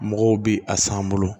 Mɔgɔw bi a san an bolo